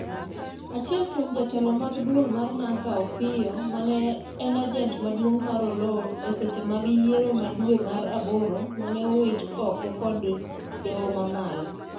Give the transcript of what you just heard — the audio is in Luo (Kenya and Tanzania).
achiel kuom jotelo mag duol mar NASA Opiyo mane en ajent maduong' mar Oloo eseche mag yiero ma dwe mar aboro mane owit oko kod dowo mamalo